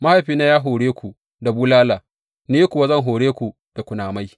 Mahaifina ya hore ku da bulala; ni kuwa zan hore ku da kunamai.